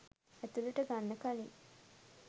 ඇතුළට ගන්න කලින්